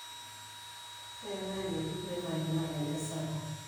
eetai enaji primary naa inye esapuk